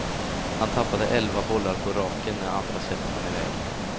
Han tappade elva bollar på raken när andra set rann iväg.